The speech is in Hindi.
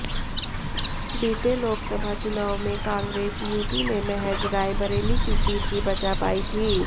बीते लोकसभा चुनाव में कांग्रेस यूपी में महज रायबरेली की सीट ही बचा पाई थी